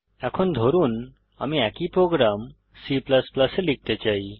এখন ধরুন আমি একই প্রোগ্রাম C এ লিখতে চাই